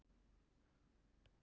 Það tók samt mjög á.